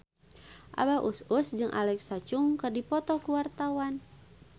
Abah Us Us jeung Alexa Chung keur dipoto ku wartawan